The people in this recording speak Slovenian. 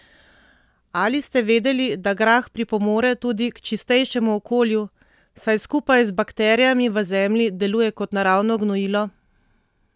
Ali ste vedeli, da grah pripomore tudi k čistejšemu okolju, saj skupaj z bakterijami v zemlji deluje kot naravno gnojilo?